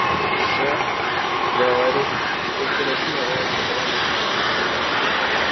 шеф говорит что в хиросиме воронка была ниже